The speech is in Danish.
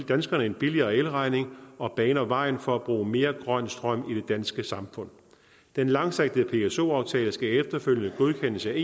danskerne en billigere elregning og baner vejen for at bruge mere grøn strøm i det danske samfund den langsigtede pso aftale skal efterfølgende godkendes af